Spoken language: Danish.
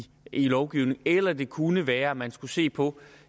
lovgivningen eller om det kunne være at man skulle se på